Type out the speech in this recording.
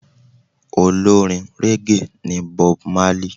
Olórin régè ní Bob Marley.